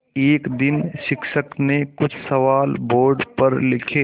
एक दिन शिक्षक ने कुछ सवाल बोर्ड पर लिखे